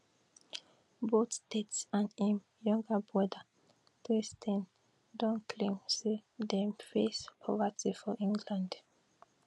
both tate and im younger broda tristan don claim say dem face poverty for england